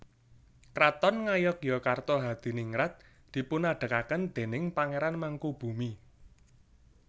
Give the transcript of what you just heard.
Kraton Ngayogyakarta Hadiningrat dipunadegaken déning Pangéran Mangkubumi